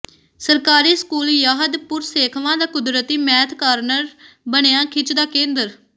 ਸਰਕਾਰੀ school Yahadpur Sekhwan ਦਾ ਕੁਦਰਤੀ ਮੈਥ ਕਾਰਨਰ ਬਣਿਆ ਖਿੱਚ ਦਾ ਕੇਂਦਰ